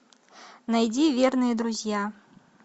найди верные друзья